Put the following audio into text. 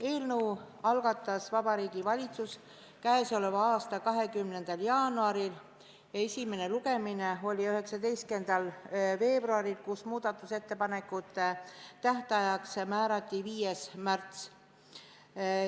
Eelnõu algatas Vabariigi Valitsus k.a 20. jaanuaril ja esimene lugemine oli 19. veebruaril, kus muudatusettepanekute tähtajaks määrati 5. märts.